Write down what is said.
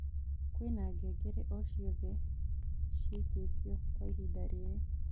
kwĩna ngengere o cĩothe cĩĩkĩrĩtwo kwaĩhĩnda riri